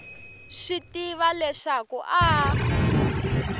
swi tiva leswaku a a